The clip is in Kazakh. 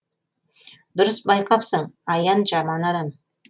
дұрыс байқапсың аян жаман адам